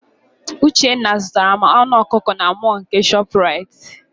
Uchenna zụtara m anụ ọkụkọ na mọl nke Shọpraịt.